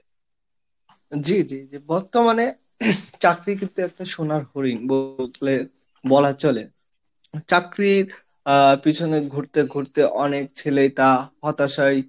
জি জি জি, বর্তমানে চাকরি কিন্তু একটা সোনার হরিণ বুঝলেন বলা চলে, চাকরির আহ পিছনে ঘুরতে ঘুরতে অনেক ছেলেই তা হতাশায়,